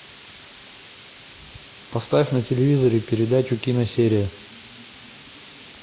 поставь на телевизоре передачу киносерия